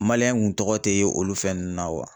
kun tɔgɔ te ye olu fɛn ninnu na .